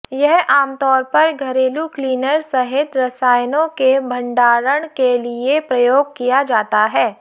यह आमतौर पर घरेलू क्लीनर सहित रसायनों के भंडारण के लिए प्रयोग किया जाता है